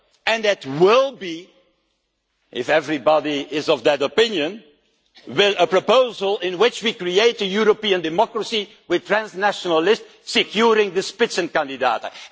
And it will be if everybody is of that opinion a proposal in which we create a European democracy with transnationalists securing the Spitzenkandidaten